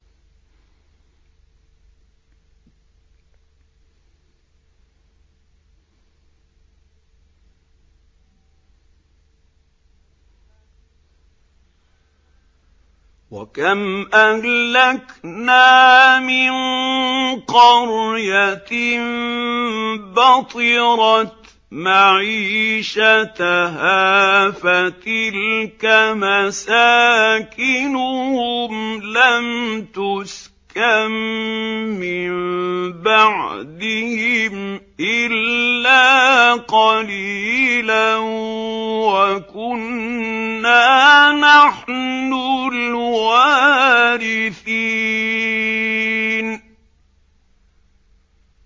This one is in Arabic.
وَكَمْ أَهْلَكْنَا مِن قَرْيَةٍ بَطِرَتْ مَعِيشَتَهَا ۖ فَتِلْكَ مَسَاكِنُهُمْ لَمْ تُسْكَن مِّن بَعْدِهِمْ إِلَّا قَلِيلًا ۖ وَكُنَّا نَحْنُ الْوَارِثِينَ